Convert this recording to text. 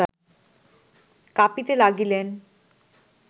কাঁপিতে লাগিলেন